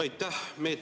Aitäh!